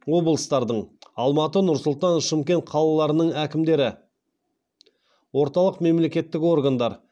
облыстардың алматы нұр сұлтан шымкент қалаларының әкімдері орталық мемлекеттік органдар